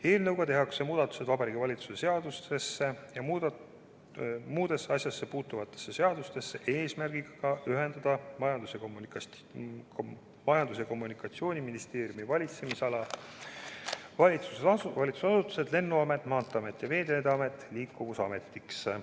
Eelnõuga tehakse muudatused Vabariigi Valitsuse seadusesse ja muudesse asjasse puutuvatesse seadustesse eesmärgiga ühendada Majandus- ja Kommunikatsiooniministeeriumi valitsemisala valitsusasutused Lennuamet, Maanteeamet ja Veeteede Amet Liikuvusametiks.